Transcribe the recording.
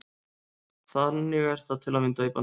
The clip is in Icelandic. Þannig er það til að mynda í Bandaríkjunum.